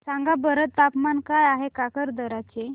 सांगा बरं तापमान काय आहे काकरदरा चे